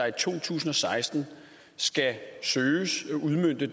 i to tusind og seksten skal søges at udmønte